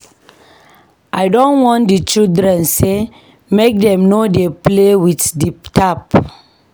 I don warn di children sey make dem no dey play with di tap.